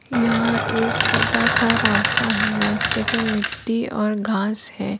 यहाँ एक छोटासा रास्ता है रास्ते पे मिट्टी और घास है।